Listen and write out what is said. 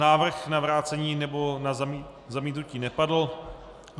Návrh na vrácení nebo na zamítnutí nepadl.